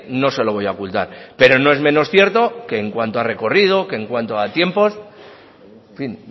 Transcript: no se lo voy a ocultar pero no es menos cierto que en cuanto a recorrido que en cuanto a tiempos en fin